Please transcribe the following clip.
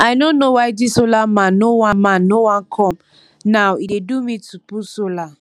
i no know why dis solar man no wan man no wan come now e dey do me to put solar